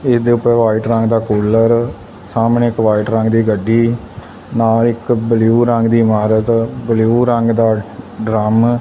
ਇਹਦੇ ਊਪਰ ਵ੍ਹਾਈਟ ਰੰਗ ਦਾ ਕੂਲਰ ਸਾਹਮਣੇ ਇੱਕ ਵ੍ਹਾਈਟ ਰੰਗ ਦੀ ਗੱਡੀ ਨਾਲ ਇੱਕ ਬਲੂ ਰੰਗ ਦੀ ਇਮਾਰਤ ਬਲੂ ਰੰਗ ਦਾ ਡਰੱਮ --